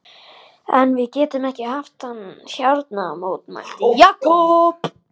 En við getum ekki haft hann hérna mótmælti Jakob.